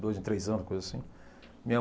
dois, vinte e três anos, uma coisa assim. Minha